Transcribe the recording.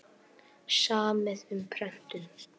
Samið um prentun